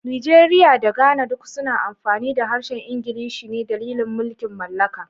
Nigeria da Ghana duk suna amfani da harshen Iglishi ne dalilin mulkin mallaka.